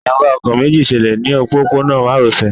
Ìjàmbá ọkọ̀ méjì ṣẹlẹ̀ ní òpópónà márosẹ̀